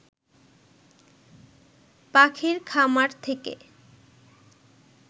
পাখির খামার থেকে